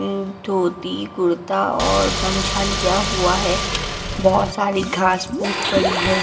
अम्म धोती कुर्ता और गमछा लिया हुआ है बहोत सारी घास फूस पड़ी है।